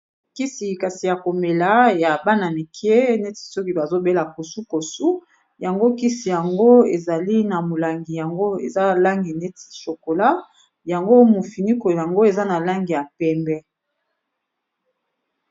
Kisi kasi ya komela ya bana mike neti soki bazobela kosu kosu yango kisi yango ezali na molangi yango eza langi neti chokola yango mofiniko yango eza na langi ya pembe.